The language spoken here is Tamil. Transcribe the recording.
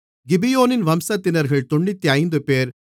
கிபியோனின் வம்சத்தினர்கள் 95 பேர்